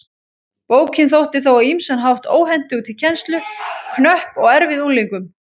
Bókin þótti þó á ýmsan hátt óhentug til kennslu, knöpp og erfið unglingum.